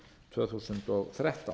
tvö þúsund og þrettán